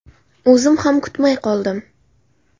O‘zim ham kutmay qoldim.